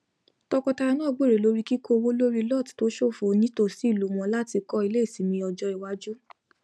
tọkọtaya náà gbèrò lórí kíkó owó lórí lot tó ṣófo ní tòsí ìlú wọn láti kọ ilé ìsinmi ọjọ iwájú